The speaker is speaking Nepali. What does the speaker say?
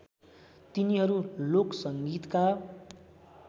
तिनीहरू लोक संगीतका